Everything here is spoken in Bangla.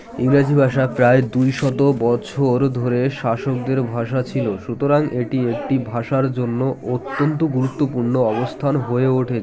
ইংরাজী ভাষা প্রায় দুই শত বছর ধরে শাসকদের ভাষা ছিল সুতরাং এটি একটি ভাষার জন্য অত্যন্ত গুরুত্বপূর্ণ অবস্থান হয়ে ওঠে